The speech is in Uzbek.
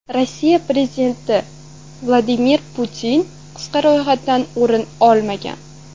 Rossiya prezidenti Vladimir Putin qisqa ro‘yxatdan o‘rin olmagan .